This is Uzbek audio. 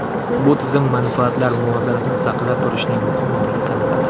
Bu tizim manfaatlar muvozanatini saqlab turishning muhim omili sanaladi.